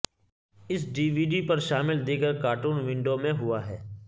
اس D V D پر شامل دیگر کارٹون ونڈو میں ہوا ہے